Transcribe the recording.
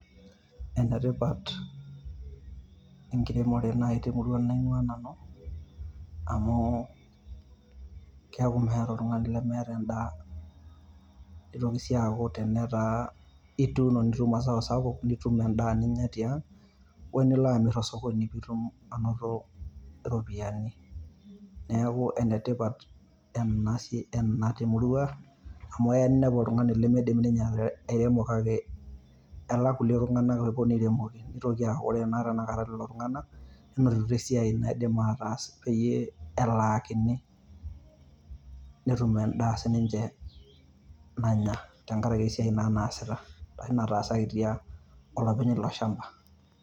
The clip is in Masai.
Enetipat enkiremore naaji te murua naing`uaa nanu amu keaku meeta oltung`ani lemeeta en`daa. Nitoki sii aaku tenetaa ituuno nitum mazao sapuk nitum en`daa ninyia tiang o nilo amirr to sokoni pee itum anoto iropiyiani. Niaku ene tipat ena, ena te murua amu eya ninepu oltung`ani limidim ninye airemo te kake elak ilkulikae tung`anak oponu airemoki. Nitoki aaku ore naa tenakta lelo tung`anak nenotito esiai naidim ataas peyie elaakini netum en`daa sii ninche nanya tenkaraki esiai naa naasita arashu naataasaki tiang olopeny ilo shamba.